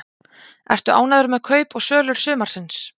Ertu ánægður með kaup og sölur sumarsins?